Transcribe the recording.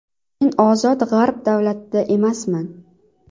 Men ozod g‘arb davlatida emasman.